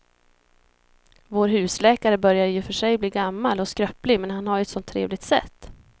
Vår husläkare börjar i och för sig bli gammal och skröplig, men han har ju ett sådant trevligt sätt!